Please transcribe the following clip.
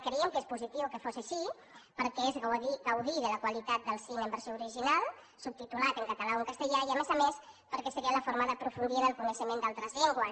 creiem que seria positiu que fos així perquè és gaudir de la qualitat del cine en versió original subtitulat en català o en castellà i a més a més perquè seria la forma d’aprofundir en el coneixement d’altres llengües